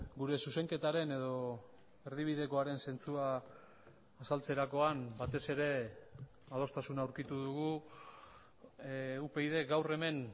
gure zuzenketaren edo erdibidekoaren zentzua azaltzerakoan batez ere adostasuna aurkitu dugu upyd gaur hemen